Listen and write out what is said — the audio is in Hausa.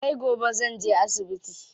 Sai gobe zanje asibiti.